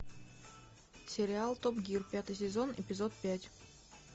сериал топ гир пятый сезон эпизод пять